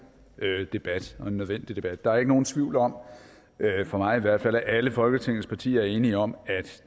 debat og en nødvendig debat der er ikke nogen tvivl om for mig i hvert fald at alle folketingets partier er enige om